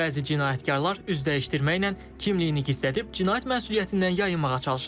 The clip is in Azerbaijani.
Bəzi cinayətkarlar üz dəyişdirməklə kimliyini gizlədib, cinayət məsuliyyətindən yayınmağa çalışırlar.